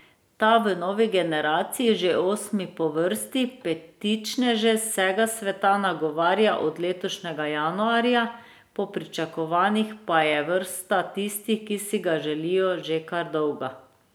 Ta v novi generaciji, že osmi po vrsti, petičneže z vsega sveta nagovarja od letošnjega januarja, po pričakovanjih pa je vrsta tistih, ki si ga želijo, že kar dolga.